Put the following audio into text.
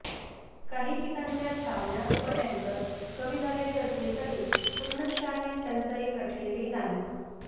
काही ठिकाणच्या छावण्या व टँकर कमी झालेले असले तरी पूर्णांशाने टंचाई हटलेली नाही